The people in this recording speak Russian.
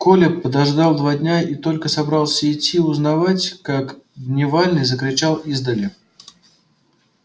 коля подождал два дня и только собрался идти узнавать как дневальный закричал издали